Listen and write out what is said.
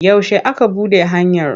Yaushe aka buɗe hanyar?